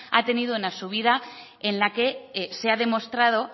ha tenido una subida en la que se ha demostrado